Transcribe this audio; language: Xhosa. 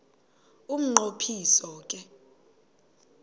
umnqo phiso ke